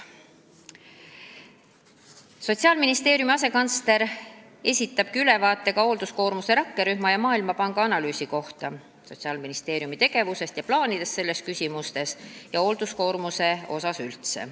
Sotsiaalministeeriumi asekantsler esitab ülevaate hoolduskoormuse rakkerühma tegevusest ja Maailmapanga analüüsist, Sotsiaalministeeriumi tegevusest ja plaanidest nendes küsimustes ja hoolduskoormusest üldse.